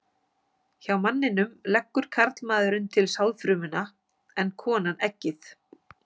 Hjá manninum leggur karlmaðurinn til sáðfrumuna en konan eggið.